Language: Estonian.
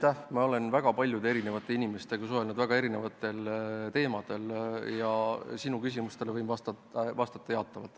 Ma olen suhelnud väga paljude inimestega väga erinevatel teemadel ja sinu küsimusele võin vastata jaatavalt.